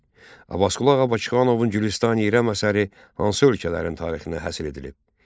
Abbasqulu Ağa Bakıxanovun "Gülüstani İrəm" əsəri hansı ölkələrin tarixinə həsr edilib?